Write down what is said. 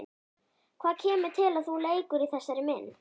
Hvað kemur til að þú leikur í þessari mynd?